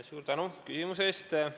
Suur tänu küsimuse eest!